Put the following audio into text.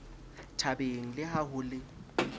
thabeng le ha ho le